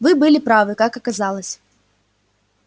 вы были правы как оказалось